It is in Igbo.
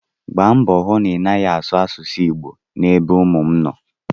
Gbaa mbọ hụ na ị naghị asụ asụsụ Igbo ebe ụmụ m nọ!